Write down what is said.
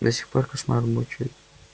до сих пор кошмары мучают